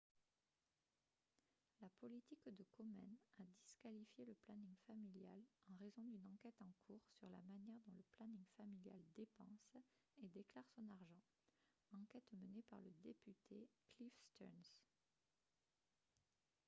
la politique de komen a disqualifié le planning familial en raison d'une enquête en cours sur la manière dont le planning familial dépense et déclare son argent enquête menée par le député cliff stearns